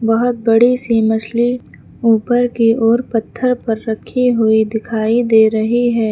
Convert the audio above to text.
बहोत बड़ी सी मछली ऊपर की ओर पत्थर पर रखे हुए दिखाई दे रही है।